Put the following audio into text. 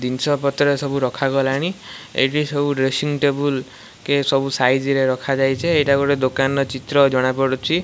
ଦିନଷ ପତ୍ର ସବୁ ରଖାଗଲାଣି ଏଇଠି ସବୁ ଡ୍ରେସିଂ ଟେବୁଲ୍ କେ ସବୁ ସାଇଜ୍ ରେ ରଖାଯାଇ ଚେ ଏଇଟା ଗୋଟେ ଦୋକାନ୍ର ଚିତ୍ର ଜଣାପଡ଼ୁଛି।